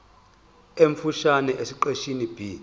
omfushane esiqeshini b